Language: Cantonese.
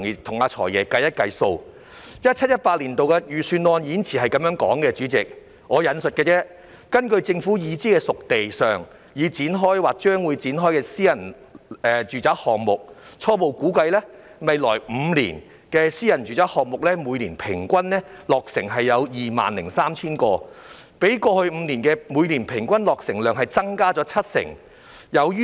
代理主席 ，2017-2018 年度預算案的演辭內容如下："根據政府已知'熟地'上已展開或將會展開的私人住宅項目，初步估計，未來5年私人住宅單位的每年平均落成量約 20,300 個，比過去5年的每年平均落成量增加約七成。